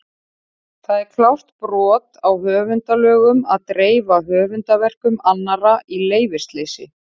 Og það er klárt brot á höfundalögum að dreifa höfundarverkum annarra í leyfisleysi!